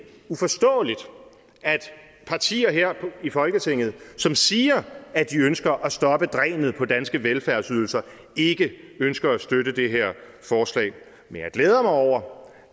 uforståeligt at partier her i folketinget som siger at de ønsker at stoppe drænet på danske velfærdsydelser ikke ønsker at støtte det her forslag men jeg glæder mig over